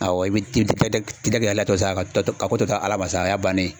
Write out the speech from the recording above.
Awɔ i bI i bɛ tigɛ latɔsa ko to ala fa y'a bannen ye.